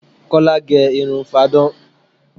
Kola gẹ irun fáadán